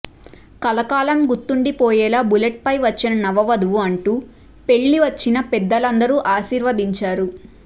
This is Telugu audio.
కలకాలం గుర్తుండిపోయేలా బుల్లెట్పై వచ్చిన నవవధువు అంటూ పెళ్లి వచ్చిన పెద్దలందరూ అశీర్వదించారు